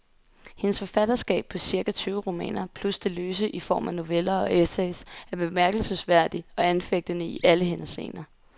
Hendes forfatterskab på cirka tyve romaner, plus det løse i form af noveller og essays, er bemærkelsesværdig og anfægtende i alle henseender.